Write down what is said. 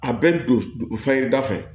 A bɛ don fɛnkɛda fɛ